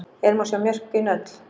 Hér má sjá mörkin öll.